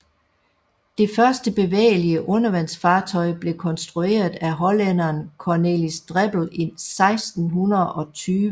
Det første bevægelige undervandsfartøj blev konstrueret af hollænderen Cornelis Drebbel i 1620